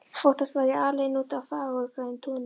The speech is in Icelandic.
Oftast var ég alein úti á fagurgrænu túni.